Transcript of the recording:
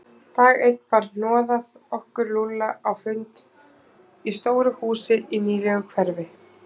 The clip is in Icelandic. Dag einn bar hnoðað okkur Lúlla á fund í stóru húsi í nýlegu hverfi.